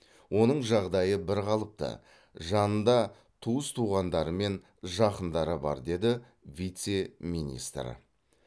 оның жағдайы бірқалыпты жанында туыс туғандары мен жақындары бар деді вице министр